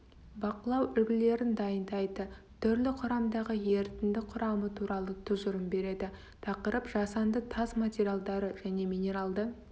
бақылау үлгілерін дайындайды түрлі құрамдағы ерітінді құрамы туралы тұжырым береді тақырып жасанды тас материалдары және минералды